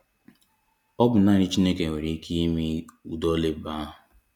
Ọ bụ naanị Chineke nwere ike ime udi ọlụ ebube ahụ.